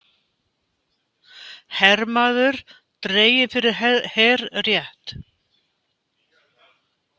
Hermaður dreginn fyrir herrétt